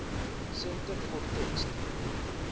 centre for text